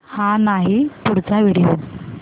हा नाही पुढचा व्हिडिओ